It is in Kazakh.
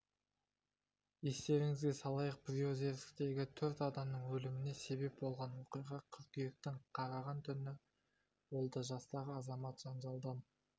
естеріңізге салайық приозерскідегі төрт адамның өліміне себеп болған оқиға қыркүйектің қараған түні болды жастағы азамат жанжалдан